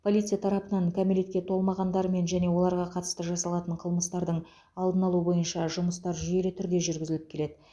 полиция тарапынан кәмелетке толмағандармен және оларға қатысты жасалатын қылмыстардың алдын алу бойынша жұмыстар жүйелі түрде жүргізіліп келеді